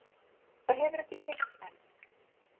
Það hefur ekki tekist enn